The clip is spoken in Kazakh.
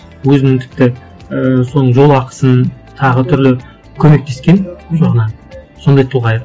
өзінің тіпті ііі соның жолақысын тағы түрлі көмектескен соған ы сондай тұлға еді